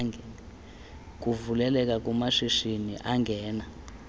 kuvuleleka kumashishini angena